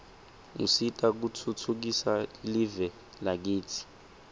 usita kutfhtfukisa live lakitsi